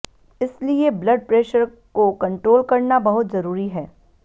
इसलिए blood pressure को control करना बहुत जरूरी है